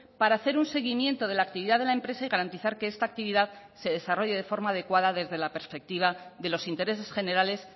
para hacer un seguimiento de la actividad de la empresa y garantizar que esta actividad se desarrolle de forma adecuada desde la perspectiva de los intereses generales